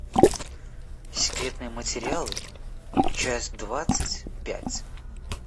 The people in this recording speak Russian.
секретные материалы часть двадцать пять